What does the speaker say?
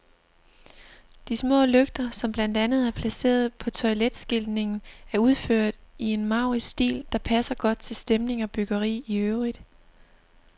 De små lygter, som blandt andet er placeret på toiletskiltningen, er udført i en maurisk stil, der passer godt til stemning og byggeri i øvrigt.